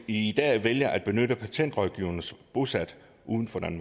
i dag vælger at benytte patentrådgivere bosat uden for